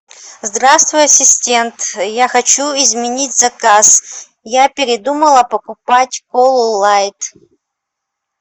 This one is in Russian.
здравствуй ассистент я хочу изменить заказ я передумала покупать колу лайт